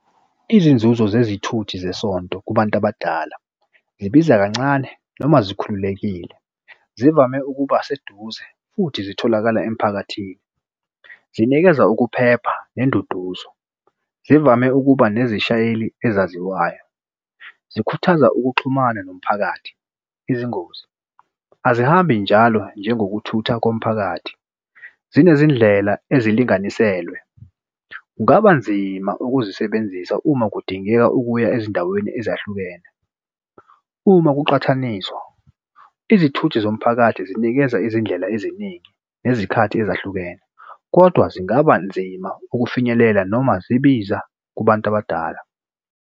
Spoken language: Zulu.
Izinzuzo zezithuthi zesonto kubantu abadala zibiza kancane noma zikhululekile, zivame ukuba seduze futhi zitholakala emphakathini. Zinikeza ukuphepha nenduduzo. Zivame ukuba nezishayeli ezaziwayo. Zikhuthaza ukuxhumana nomphakathi, izingozi azihambi njalo njengokuthutha komphakathi, sinezindlela ezilinganiselwe. Kungaba nzima ukuzisebenzisa uma kudingeka ukuya ezindaweni ezahlukene. Uma kuqhathaniswa izithuthi zomphakathi zinikeza izindlela eziningi nezikhathi ezahlukene, kodwa zingaba nzima ukufinyelela noma zibiza kubantu abadala.